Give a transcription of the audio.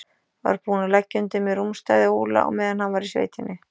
Var búinn að leggja undir mig rúmstæði Óla meðan hann var í sveitinni.